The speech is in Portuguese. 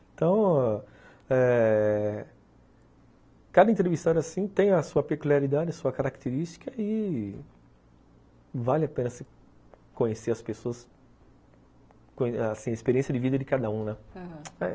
Então, eh cada entrevistado tem a sua peculiaridade, sua característica e vale a pena se conhecer as pessoas, assim, a experiência de vida de cada um, né, aham.